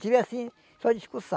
Tive, assim, só discussão.